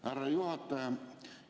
Härra juhataja!